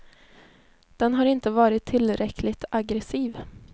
Den har inte varit tillräckligt aggressiv.